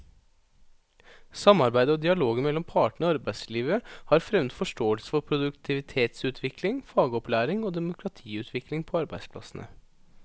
Samarbeidet og dialogen mellom partene i arbeidslivet har fremmet forståelse for produktivitetsutvikling, fagopplæring og demokratiutvikling på arbeidsplassene.